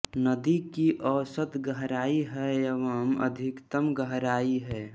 नदी की औसत गहरायी है एवं अधिकतम गहरायी है